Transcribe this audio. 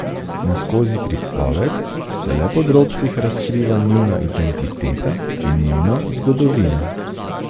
In skozi pripoved se le po drobcih razkriva njuna identiteta in njuna zgodovina.